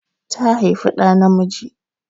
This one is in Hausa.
Ta haifi ɗa namiji.